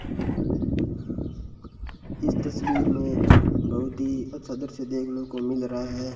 इस तस्वीर में बहुत ही अच्छा दृश्य देखने को मिल रहा है।